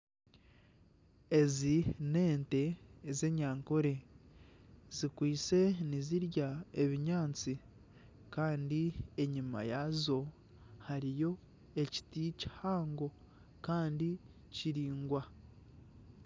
Ezi n'ente ez'enyankole zikwaitse nizirya ebinyaatsi kandi enyima yaazo hariyo ekiti kihango kandi kiraingwa.